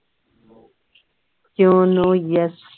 no no yes